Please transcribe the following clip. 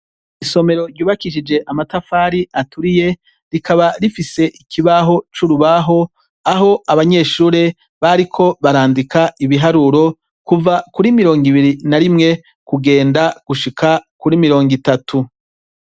Isomero ryubakishije amatafari aturiye rikaba rifise ikibaho c'urubaho; aho abanyeshure bariko barandika ibiharuro kuva kuri 21 kugenda gushika kuri 30.